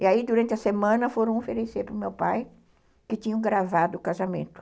E aí, durante a semana, foram oferecer para o meu pai, que tinham gravado o casamento.